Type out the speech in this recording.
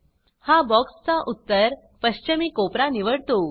हा बॉक्सचा उत्तर पश्चिमी कोपरा निवडतो